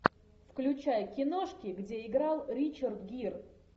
включай киношки где играл ричард гир